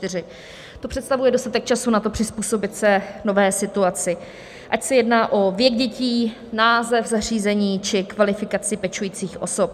To představuje dostatek času na to, přizpůsobit se nové situaci, ať se jedná o věk dětí, název zařízení či kvalifikaci pečujících osob.